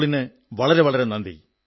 നിധിയുടെ ഫോൺ കോളിന് വളരെ വളരെ നന്ദി